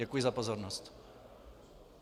Děkuji za pozornost.